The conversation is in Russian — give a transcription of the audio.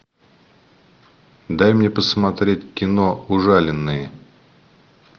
дай мне посмотреть кино ужаленные